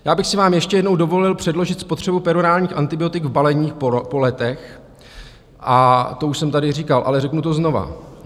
Já bych si vám ještě jednou dovolil předložit spotřebu perorálních antibiotik v baleních po letech - a to už jsem tady říkal, ale řeknu to znova.